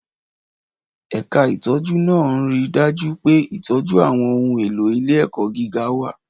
Ẹ̀ka ìtọ́jú náà ń rí i dájú pé ìtọ́jú àwọn ohun èlò ilé-ẹ̀kọ́ gíga wà.